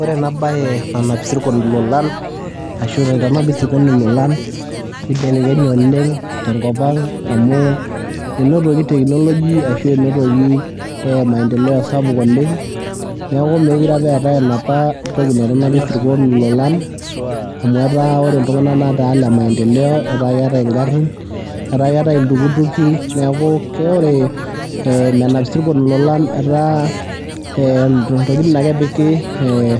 Ore ena baye nanap isirkon ilolan ashu naitanapi isirkon ilolan nibelekenye oleng' tenkop ang' amu inotoki technology ashu enotoki maendeleo sapuk oleng' neeku meekure eetai enapa toki naitanapi isirkon ilolan amu etaa ore iltung'anak netaa ile maendeleo etaa keetai ngarrin etaa ketai iltukutuki neeku ke ore menap isirkon ilolan etaa ntokitin ake epiki ee